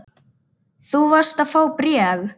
Þú varst að fá bréf.